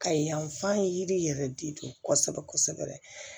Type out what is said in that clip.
Ka yanfan yiri yɛrɛ de don kosɛbɛ kosɛbɛ